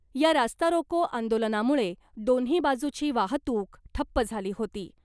या रास्तारोको आंदोलनामुळे दोन्ही बाजूची वाहतूक ठप्प झाली होती .